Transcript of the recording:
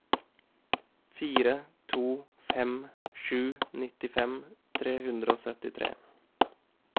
fire to fem sju nittifem tre hundre og syttitre